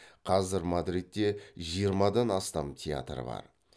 қазір мадридте жиырмадан астам театр бар